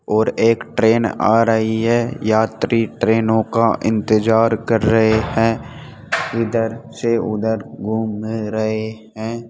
और एक ट्रेन आ रही है यात्री ट्रेनों का इंतजार कर रहे हैं इधर से उधर घूम रहे हैं।